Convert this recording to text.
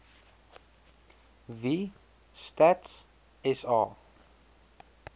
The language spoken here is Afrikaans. wie stats sa